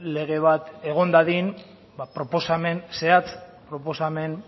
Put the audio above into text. lege bat egon dadin proposamen zehatz proposamen